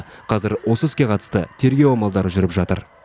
қазір осы іске қатысты тергеу амалдары жүріп жатыр